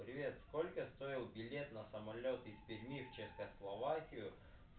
привет сколько стоил билет на самолёт из перьми в чехословакию